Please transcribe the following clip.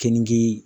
Keninke